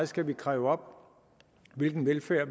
skal kræve op hvilken velfærd